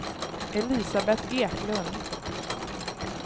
Elisabet Eklund